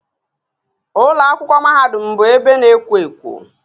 Ụlọ akwụkwọ mahadum bụ ebe na-ekwo ekwo